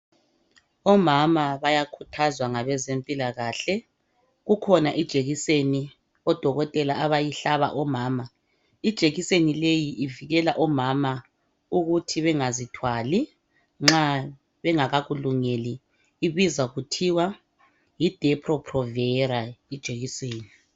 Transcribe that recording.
Omama bayakhuthazwa ngabezempilakahle kukhona ijekiseni odokotela abayihlaba omama. Ijekiseni leyi ivikelwa omama ukuthi bengazithwali nxa bengakakulungeli ibizwa kuthiwa Yi depo provera ijekiseni.